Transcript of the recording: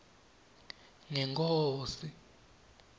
ngenkhosi